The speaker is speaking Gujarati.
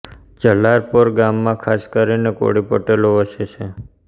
જલારપોર ગામમાં ખાસ કરીને કોળી પટેલો વસે છે